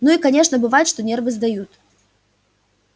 ну и конечно бывает что нервы сдают